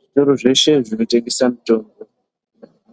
Zvitoro zveshe zvinotengesa mitombo